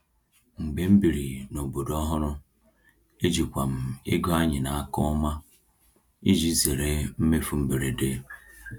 Mgbe m biri n’obodo ọhụrụ, ejikwa m ego anyị n’aka ọma iji zere mmefu mberede.